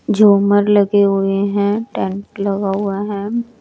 झूमर लगे हुए हैं टेंट लगा हुआ है।